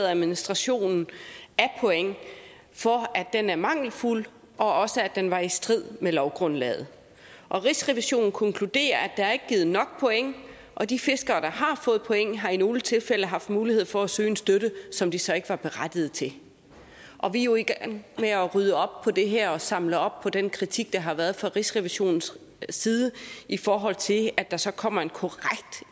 administrationen af point for at den er mangelfuld og også at den var i strid med lovgrundlaget rigsrevisionen konkluderer at der ikke er givet nok point og de fiskere der har fået point har i nogle tilfælde haft mulighed for at søge en støtte som de så ikke var berettiget til vi er jo i gang med at rydde op i det her og samle op på den kritik der har været fra rigsrevisionens side i forhold til der så kommer en korrekt